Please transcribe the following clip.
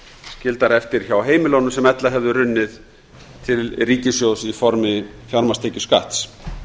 skildar eftir hjá heimilunum sem ella hefðu runnið til ríkissjóðs í formi fjármagnstekjuskatts